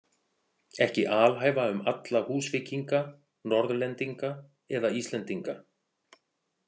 Ekki alhæfa um alla Húsvíkinga, Norðlendinga eða Íslendinga.